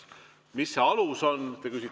Mis see alus on?